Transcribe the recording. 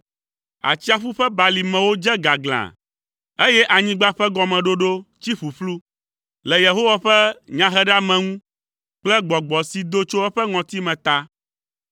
Atsiaƒu ƒe balimewo dze gaglã, eye anyigba ƒe gɔmeɖoɖo tsi ƒuƒlu. Le Yehowa ƒe nyaheɖeameŋu kple gbɔgbɔ si do tso eƒe ŋɔtime ta.